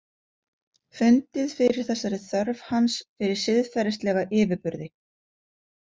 Fundið fyrir þessari þörf hans fyrir siðferðislega yfirburði.